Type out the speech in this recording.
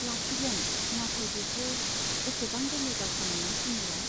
लाखिगोन , नाथाय बेथ' एसेबां गोरलै बाथ्रा नङा सुमिला।